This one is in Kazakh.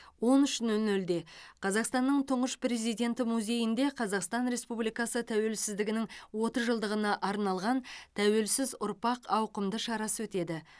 он үш нөл нөлде қазақстанның тұңғыш президенті музейінде қазақстан республикасы тәуелсіздігінің отыз жылдығына арналған тәуелсіз ұрпақ ауқымды шарасы өтеді